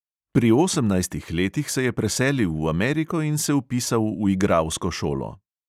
Pri osemnajstih letih se je preselil v ameriko in se vpisal v igralsko šolo.